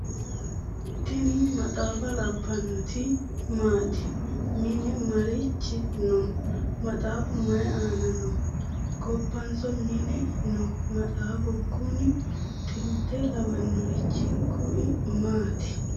tini maxaaffa labbannoti maati @ mine marichi no ? maaxaafu mayi aana no ? gobbanso mine no maxaafu kunui? xilte lawannorichi kui maati?